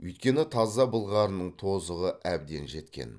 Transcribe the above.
өйткені таза былғарының тозығы әбден жеткен